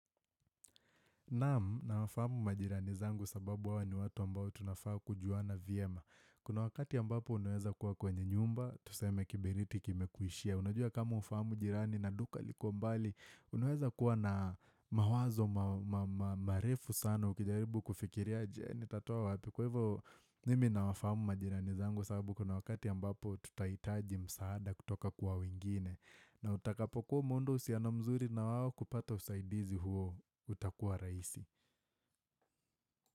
Naam, nawafamu majirani zangu sababu hawa wni watu ambao tunafaa kujuana vyema. Kuna wakati ambapo unaeza kuwa kwenye nyumba, tuseme kiberiti kimekuishia. Unajua kama hufamu jirani na duka liko mbali, unaeza kuwa na mawazo, marefu sana, ukijaribu kufikiria je nitatoa wapi. Kwa hivyo, mimi nawafamu majirani zangu sababu kuna wakati ambapo tutahitaji msaada kutoka kwa wingine. Na utakapo kuwa umeunda uhusiano mzuri na wao kupata usaidizi huo utakuwa rahisi.